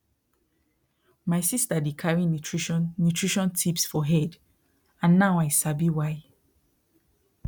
my sister dey carry nutrition nutrition tips for head and now i sabi why